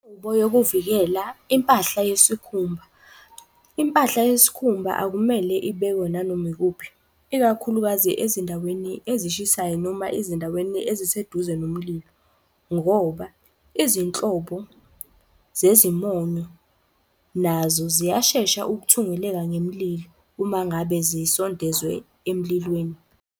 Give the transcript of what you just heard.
Yokuvikela impahla yesikhumba. Impahla yesikhumba akumele ibekwe nanoma ikuphi, ikakhulukazi ezindaweni ezishisayo. Noma ezindaweni eziseduze noma mililo ngoba izinhlobo zezimonyo nazo ziyashesha ukuthungeleka ngemlilo. Uma ngabe zisondezwe emlilweni.